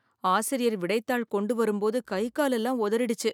ஆசிரியர் விடைத்தாள் கொண்டு வரும்போது கை கால் எல்லாம் உதறிடுச்சு.